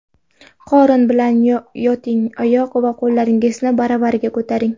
Qorin bilan yoting, oyoq va qo‘llaringizni baravariga ko‘taring.